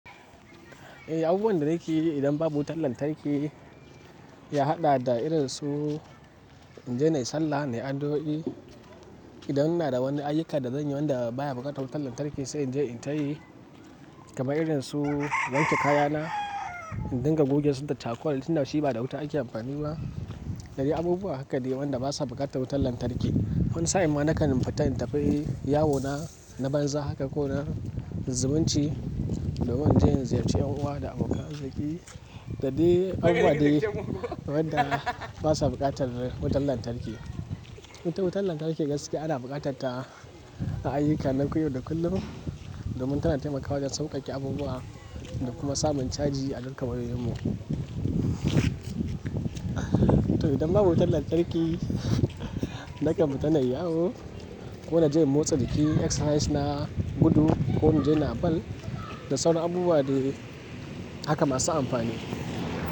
Eh, abubuwan da nake yi idan babu wutar lantarki ya haɗa da irin su in je na yi sallah, na yi addu'o'i. Idan ina da wani ayyuka da zan yi wanda baya buƙatar wutar lantarki sai in je in tayi. Kaman irin su wanke kaya na, in dinga goge su da charcoal, tinda shi ba da wuta ake amfani ba.dade abubuwa haka dai wanda basa buƙatar wutar lantarki. Wani sa'in ma na kan futa in tafi yi yawona na banza haka ko na zumunci domin inje in ziyarci 'yan uwa da abokan zaki. Dadai abubuwa dai wadda basa buƙatar wutar lantarki. Ita wutar lantarki gaske ana buƙatarta a ayyuka na koyewa da kullum domin tana taimakawa wajen sauƙaƙe abubuwa da kuma samun caji a dukan wayoyin mu. To idan babu wutar lantarki nake futa na yi yawu ko na je motsa jiki, exercise na, gudu ko in je na bal. Da sauran abubuwa dai haka masu amfani.